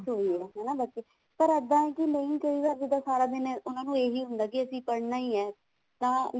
ਉਹੀ ਆ ਨਾ ਬਾਕੀ ਪਰ ਇੱਦਾਂ ਹੈ ਕੇ ਨਹੀਂ ਕਈ ਵਾਰ ਜਿੱਦਾਂ ਸਾਰਾ ਦਿਨ ਉਹਨਾ ਨੂੰ ਇਹੀ ਹੁੰਦਾ ਵੀ ਅਸੀਂ ਪੜ੍ਹਣਾ ਈ ਹੈ ਤਾਂ